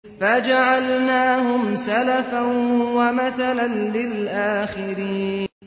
فَجَعَلْنَاهُمْ سَلَفًا وَمَثَلًا لِّلْآخِرِينَ